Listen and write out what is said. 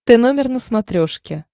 т номер на смотрешке